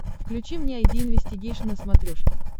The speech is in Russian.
включи мне айди инвестигейшн на смотрешке